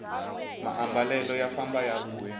maambalelo ya famba ya vuya